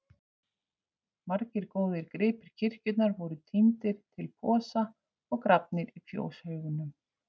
Margir góðir gripir kirkjunnar voru tíndir til í posa og grafnir í fjóshaugnum.